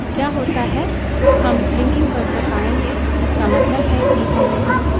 क्या होता है हम ब्लिंगकिंग कर्सर पायेंगे इसका मतलब है कि हमें कीबोर्ड से एंटर करने की जरूरत है